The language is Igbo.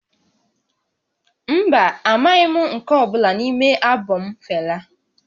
Mba, amaghị m nke ọ bụla n'ime albọm Fela